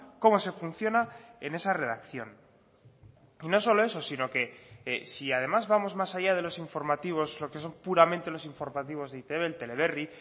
como se funciona en esa redacción no solo eso sino que si además vamos más allá de los informativos lo que son puramente los informativos de e i te be el teleberri